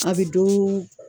A bɛ do